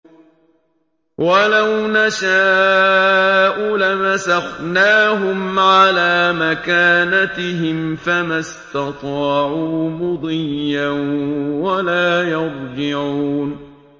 وَلَوْ نَشَاءُ لَمَسَخْنَاهُمْ عَلَىٰ مَكَانَتِهِمْ فَمَا اسْتَطَاعُوا مُضِيًّا وَلَا يَرْجِعُونَ